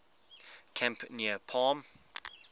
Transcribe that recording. camp near palm